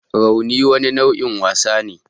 Rauni wani nau'in wasa ne